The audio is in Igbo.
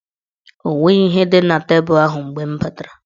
O nweghi ihe dị na tebul ahụ mgbe m batara.